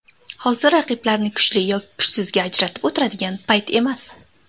Hozir raqiblarni kuchli yoki kuchsizga ajratib o‘tiradigan payt emas.